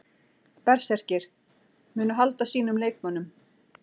Berserkir: Munu halda sínum leikmönnum.